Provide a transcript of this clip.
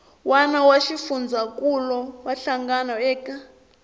wana swa xifundzankuluwa hlangano eka